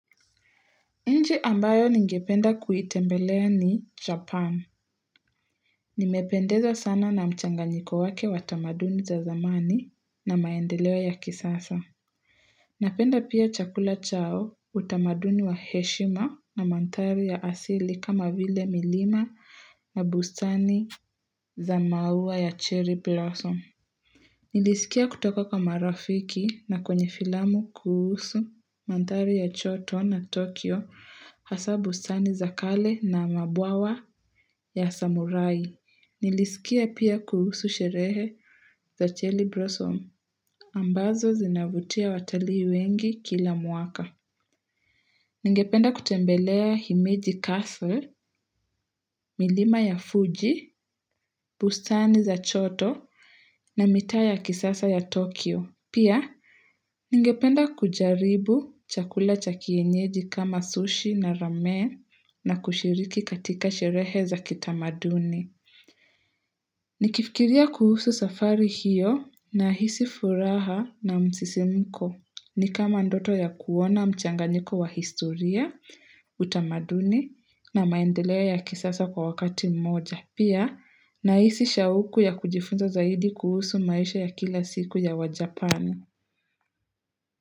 Nchi ambayo ningependa kuitembelea ni Japan. Nimependezwa sana na mchanganyiko wake wa tamaduni za zamani na maendeleo ya kisasa. Napenda pia chakula chao, utamaduni wa heshima na mandhari ya asili kama vile milima na bustani za maua ya cherry blossom. Nilisikia kutoka kwa marafiki na kwenye filamu kuhusu mandhari ya Kyoto na Tokyo hasa bustani za kale na mabwawa ya samurai. Nilisikia pia kuhusu sherehe za cherry blossom ambazo zinavutia watalii wengi kila mwaka. Ningependa kutembelea Himeji Castle, milima ya Fuji, bustani za Kyoto na mitaa ya kisasa ya Tokyo. Pia, ningependa kujaribu chakula cha kienyeji kama sushi na ramen na kushiriki katika sherehe za kitamaduni. Nikifikiria kuhusu safari hiyo nahisi furaha na msisimko. Ni kama ndoto ya kuona mchanganiko wa historia, utamaduni na maendeleo ya kisasa kwa wakati mmoja. Pia nahisi shauku ya kujifunza zaidi kuhusu maisha ya kila siku ya WaJapan.